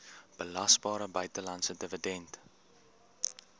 belasbare buitelandse dividend